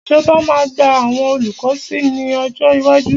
Ìjọba máa gba àwọn olùkọ́ sí ní ọjọ́ iwájú.